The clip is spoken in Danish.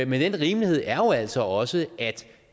men den rimelighed er jo altså også at